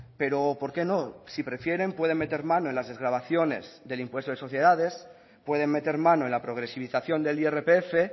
pero por qué no si prefieren pueden meter mano en las desgravaciones del impuesto de sociedades pueden meter mano en la progresivización del irpf